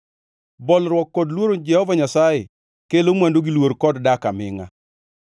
Bolruok kod luoro Jehova Nyasaye kelo mwandu gi luor kod dak amingʼa.